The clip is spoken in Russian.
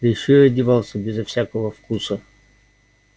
да ещё и одевался безо всякого вкуса